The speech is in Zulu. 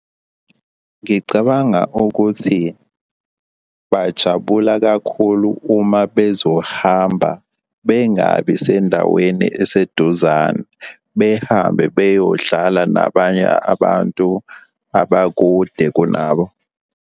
Ngicabanga ukuthi bajabula kakhulu uma bezohamba bengabi sendaweni eseduzane, behambe beyodlala nabanye abantu abakude kunabo.